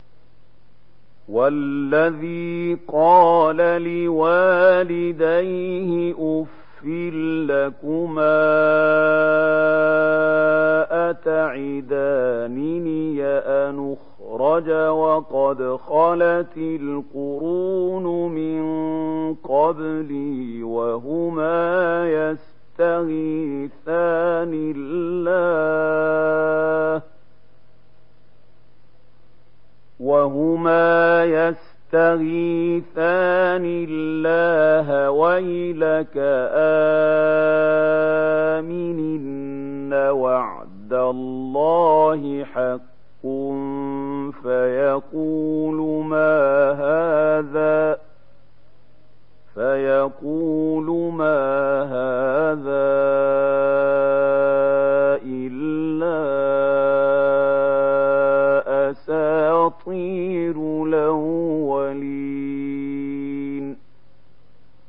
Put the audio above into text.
وَالَّذِي قَالَ لِوَالِدَيْهِ أُفٍّ لَّكُمَا أَتَعِدَانِنِي أَنْ أُخْرَجَ وَقَدْ خَلَتِ الْقُرُونُ مِن قَبْلِي وَهُمَا يَسْتَغِيثَانِ اللَّهَ وَيْلَكَ آمِنْ إِنَّ وَعْدَ اللَّهِ حَقٌّ فَيَقُولُ مَا هَٰذَا إِلَّا أَسَاطِيرُ الْأَوَّلِينَ